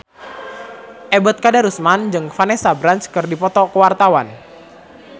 Ebet Kadarusman jeung Vanessa Branch keur dipoto ku wartawan